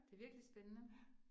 Det virkelig spændende